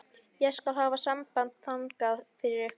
Ég skal hafa samband þangað fyrir ykkur.